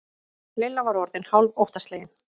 Lilla var orðin hálf óttaslegin.